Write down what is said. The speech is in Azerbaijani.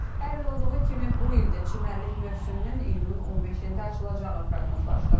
Hər il olduğu kimi bu il də çimərlik mövsümünün iyunun 15-də açılacağı proqnozlaşdırılır.